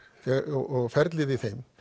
og ferlið í þeim